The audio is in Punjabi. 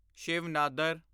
ਸ਼ਿਵ ਨਾਦਰ